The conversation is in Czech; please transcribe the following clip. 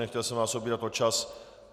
Nechtěl jsem vás obírat o čas.